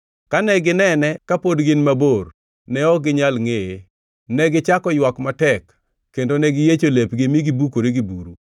Kane ginene ka pod gin mabor, ne ok ginyal ngʼeye. Negichako ywak matek, kendo ne giyiecho lepgi mi gibukore gi buru.